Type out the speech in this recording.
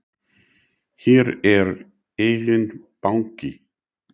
Hér er enginn banki!